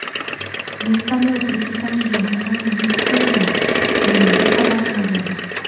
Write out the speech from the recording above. Vertolyot ekipajiga zarar yetmadi”, deyiladi xabarnomada.